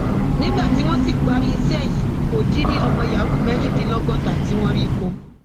nígbà tí wọn sì parí iṣẹ yìí kò dín ní ọmọ yahoo mẹrìndínlọgọta tí wọn rí kọ